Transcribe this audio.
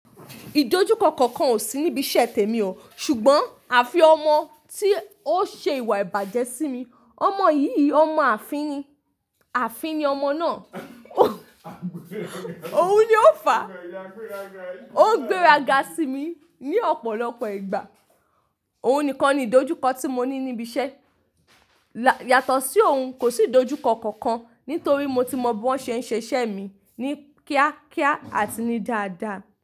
Ìdojúkọ kankan ò sí níbi iṣẹ́ tèmi o, ṣùgbọ́n àfi ọmọ tí ó ṣe ìwà ìbàjẹ́ sí mi. Ọmọ yìí, ọmọ ààfin ni, ààfin ni ọmọ náà. Òun ni ó fàá, ó ń gbéraga sí mi ní ọ̀pọ̀lọpọ̀ ìgbà. Òun nìkan ni ìdojúkọ tí mo ní níbi iṣẹ́. Yàtọ̀ sí òun, kò sí ìdojúkọ kankan nítorí mo ti mọ bí wọ́n ṣe ń ṣe iṣẹ́ mi ní kíákíá àti ní dáadáa.